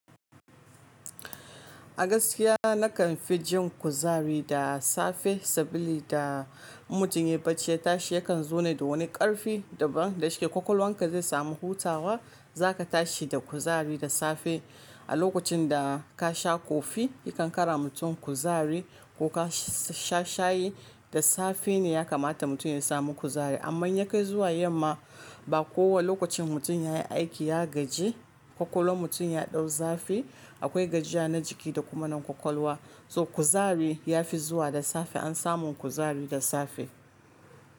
Agaskiya nakan fi jin kuzari da safe sabili da mutum ya yi bacci ya tashi yakan zo ne da wani ƙarfi daban da shike kwakwalwanka zai samu hutawa. Zaka tashi da kuzari da safe a lokacin da ka sha kofi yakan kara mutum kuzari ko ka sha shayi da safe ne ya kamata mutum ya samu kuzari. Amma in ya kai zuwa yamma ba kowa lokacin mutum ya yi aiki ya gaji kwakwalwan mutum ya dau zafi akwai gajiya na jiki da kuma na kwakwalwa. To kuzari ya fi zuwa da safe an samu kuzari da safe.